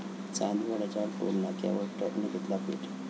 चांदवडच्या टोलनाक्यावर ट्रकने घेतला पेट